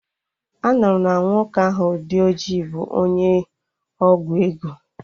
Anụrụ m na nwoke ahụ dị ojii bụ onye ọgwụ ego